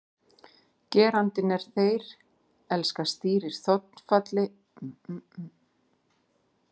Gerandinn er þeir, elska stýrir þolfalli og setningin er því rétt þeir elskuðu hvor annan.